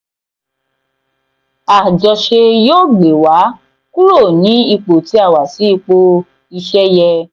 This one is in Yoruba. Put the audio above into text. àjọṣe yóò gbé wa kúrò ní ipò tí a wà sí ipò iṣẹ́ yẹ.